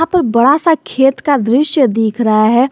ऊपर बड़ा सा खेत का दृश्य दिख रहा है।